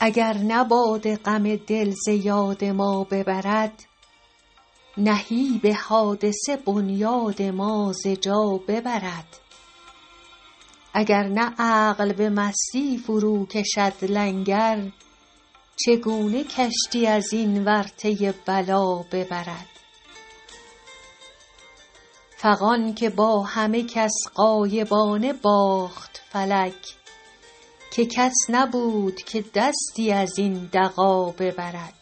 اگر نه باده غم دل ز یاد ما ببرد نهیب حادثه بنیاد ما ز جا ببرد اگر نه عقل به مستی فروکشد لنگر چگونه کشتی از این ورطه بلا ببرد فغان که با همه کس غایبانه باخت فلک که کس نبود که دستی از این دغا ببرد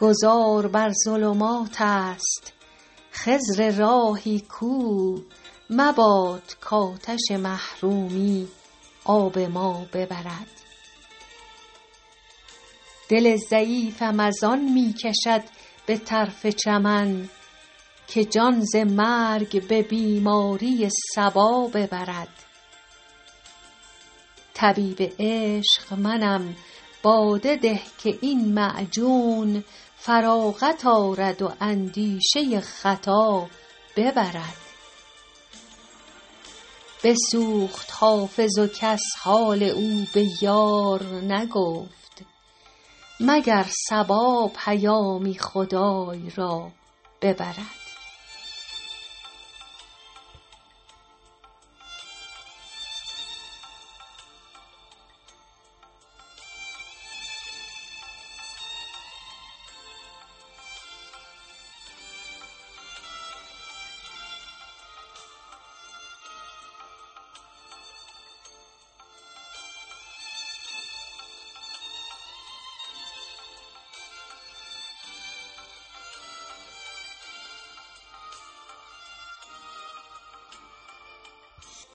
گذار بر ظلمات است خضر راهی کو مباد کآتش محرومی آب ما ببرد دل ضعیفم از آن می کشد به طرف چمن که جان ز مرگ به بیماری صبا ببرد طبیب عشق منم باده ده که این معجون فراغت آرد و اندیشه خطا ببرد بسوخت حافظ و کس حال او به یار نگفت مگر نسیم پیامی خدای را ببرد